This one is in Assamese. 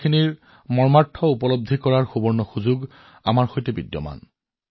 মই নিশ্চিত গীতাৰ জীৱন যাপন কৰাৰ এই সোণালী সুযোগটো আমাৰ সৈতে আছে